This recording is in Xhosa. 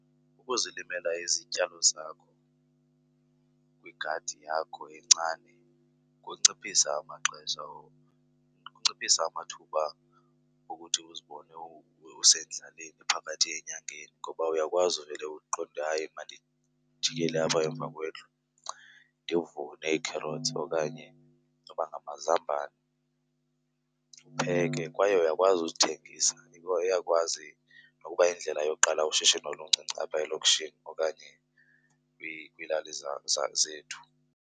Ukuzilimela izityalo zakho kwigadi yakho encane kunciphisa amaxesha , kunciphisa amathuba okuthi uzibone usendlaleni phakathi enyakeni ngoba uyakwazi uvele uqonde hayi mandijikele apha emva kwendlu ndivune ii-carrots okanye noba ngamazambane ndipheke. Kwaye uyakwazi uzithengisa, iyakwazi nokuba yindlela yokuqala ushishino oluncinci apha elokishini okanye kwiilali zethu.